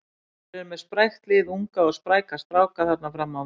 Þeir eru með sprækt lið, unga og spræka stráka þarna fram á við.